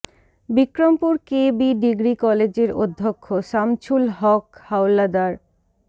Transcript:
Bikrampur K B degree কলেজের অধ্যক্ষ সামছুল হক হাওলাদার